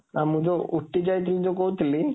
ଆଉ ମୁଁ ଯୋଉ ଉଟ୍ଟି ଯାଇଥଲି, ଯୋଉ କହୁଥିଲି,